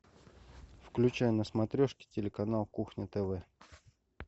включай на смотрешке телеканал кухня тв